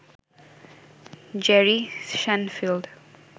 Jerry Shenfield